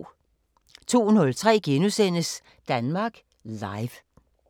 02:03: Danmark Live *